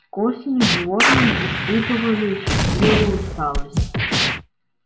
к осени животные испытывали счастливую усталость